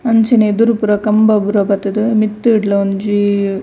ಅಂಚನೆ ಎದುರು ಪೂರ ಕಂಬ ಪೂರ ಬತ್ತುದು ಮಿತ್ತುಡ್ಲ ಒಂಜೀ.